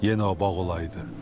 Yenə o bağ olaydı.